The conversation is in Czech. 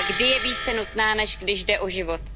A kdy je více nutná, než když jde o život?